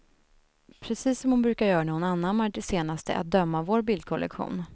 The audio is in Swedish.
Precis som hon brukar göra när hon anammar det senaste, att döma av vår bildkollektion.